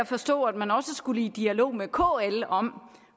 forstå at man også skulle i dialog med kl om